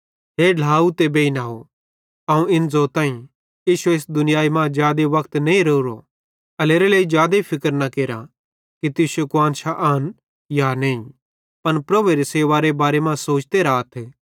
हे ढ्लाव ते बेइनव अवं इन ज़ोताईं इश्शो इस दुनियाई मां जादे वक्त नईं रावरो एल्हेरेलेइ जादे फिक्र न केरा कि तुश्शी कुआन्शां आन या नईं पन प्रभुएरी सेवारे बारे मां सोचते राथ